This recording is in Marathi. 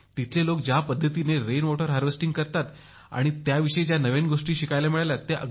तिथले लोक ज्या पद्धतीने पर्जन्य जल संधारण करतात त्याविषयी नव्या गोष्टी शिकायला मिळाल्या